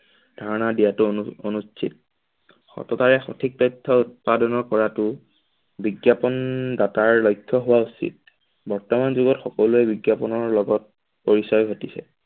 ধাৰণা দিয়াটো অনু অনুচিত সততাই সথিক তথ্য উৎপাদনা কৰাটো বিজ্ঞাপন দাতাৰ লক্ষ্য হোৱা উৎচিত বৰ্তমান যোগত সকলোৰে বিজ্ঞাপনৰ লগত পইছা ঘটিছে।